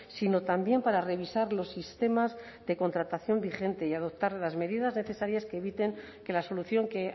sino también para revisar los sistemas de contratación vigente y adoptar las medidas necesarias que eviten que la solución que